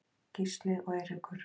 Gísli og Eiríkur.